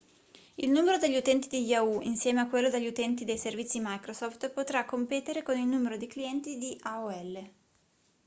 il numero degli utenti di yahoo insieme a quello degli utenti dei servizi microsoft potrà competere con il numero di clienti di aol